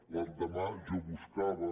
l’endemà jo buscava